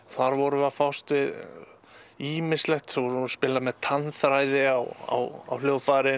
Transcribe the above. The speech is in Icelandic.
þar vorum við að fást við ýmislegt vorum að spila með á hljóðfæri